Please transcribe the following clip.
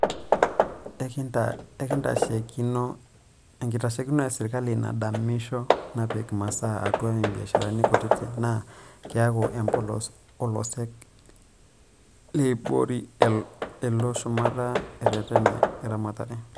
Enkitashekino e sirkali nadamisho napiki masaa atua ibiasharani kutiti naa keeku empolos olosek leibori elo shumata e reten e ramatare.